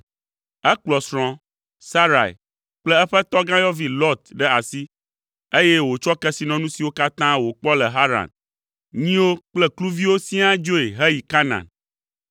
Ekplɔ srɔ̃a, Sarai kple eƒe tɔgãyɔvi Lot ɖe asi, eye wòtsɔ kesinɔnu siwo katã wòkpɔ le Haran, nyiwo kple kluviwo siaa dzoe heyi Kanaan.